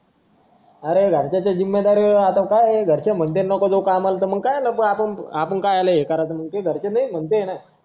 अरे घरच्यांच्या जीम्मेदारीवर राहतो काय घरचे म्हणतील नको जाऊ कामावर मग आपण काय काला काय करायचं मग घरचे नाही म्हणताय ना